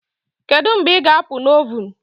Kedu mgbe ị ga-apụ na ovun